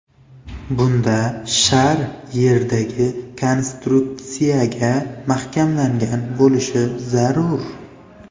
Bunda shar yerdagi konstruksiyaga mahkamlangan bo‘lishi zarur.